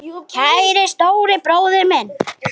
Kæri stóri bróðir minn.